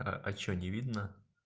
а а что не видно